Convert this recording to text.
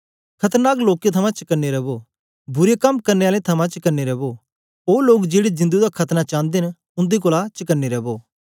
खतरनाक लोकें थमां चकने रवो बुरे कम करने आलें थमां चकने रवो ओ लोग जेड़े जिंदु दा खतना चांदे न उन्दे कोलां चकने रवो